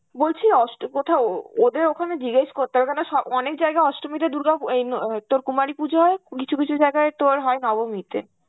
বলছি অষ্ট~ কোথাও ও~ ওদের ওখানে জিজ্ঞেস করতে হবে কেননা স~ অনেক জায়গায় অষ্টমীতে দুর্গা এই ন অ তোর কুমারী পুজো হয়, কিছু কিছু জায়গায় তোর হয় নবমীতে.